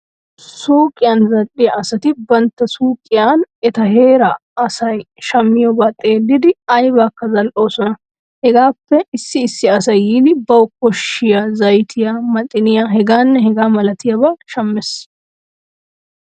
Suuqiyan zal"iya asati bantta suuqiyan eta heera asayi shammiyoobaa xellidi aybaakka zal"oosona. Hegappe issi issi asay yiidi bawu koshshiya zaytiya; maxiniyaa…… hegaanne hegaa malatiyabata shammees.